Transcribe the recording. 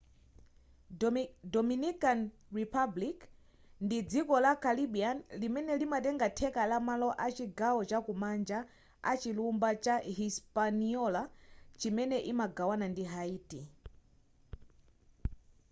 dominican republic spanish: rupública dominicana ndi dziko la caribbean limene linatenga theka la malo a chigawo chakumanja a chilumba cha hispaniola chimene imagawana ndi haiti